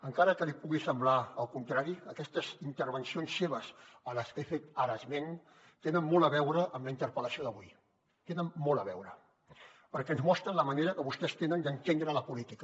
encara que li pugui semblar el contrari aquestes intervencions seves a les que he fet ara esment tenen molt a veure amb la interpel·lació d’avui hi tenen molt a veure perquè ens mostren la manera que vostès tenen d’entendre la política